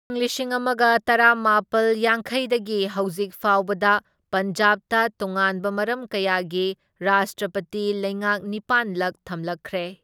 ꯢꯪ ꯂꯤꯁꯤꯡ ꯑꯃꯒ ꯇꯔꯥꯃꯥꯄꯜ ꯌꯥꯡꯈꯩꯗꯒꯤ ꯍꯧꯖꯤꯛꯐꯥꯎꯕꯗ ꯄꯟꯖꯥꯕꯇ ꯇꯣꯉꯥꯟꯕ ꯃꯔꯝ ꯀꯌꯥꯒꯤ ꯔꯥꯁꯇ꯭ꯔꯄꯇꯤ ꯂꯩꯉꯥꯛ ꯅꯤꯄꯥꯟ ꯂꯛ ꯊꯝꯂꯛꯈ꯭ꯔꯦ꯫